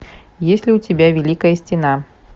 есть ли у тебя великая стена